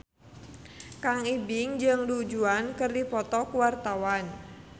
Kang Ibing jeung Du Juan keur dipoto ku wartawan